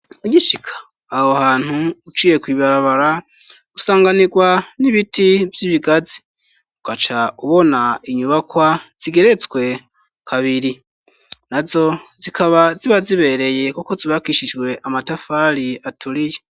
Ugishika aho hantu, uciye kw'ibarabara usanganirwa n'ibiti vy'ibigazi, ugaca ubona inyubakwa zigeretswe kabiri. Nazo zikaba ziba zibereye kuko zubakishijwe amatafari aturiye.